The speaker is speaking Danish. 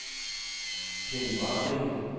Keld Warming